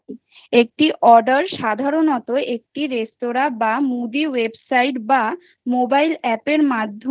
একটি order সাধারণত একটি রেস্তোরাঁ বা movie website বা mobile app মাধ্যমে